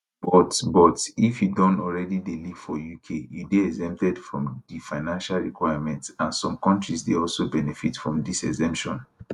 but but if you don already dey live for uk you dey exempted from di financial requirements and some kontris dey also benefit from dis exemption